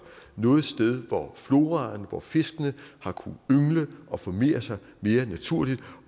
noget sted hvor floraen og fiskene har kunnet yngle og formere sig mere naturligt